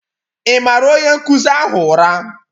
Ị maara onye nkụzi ahụ ụra?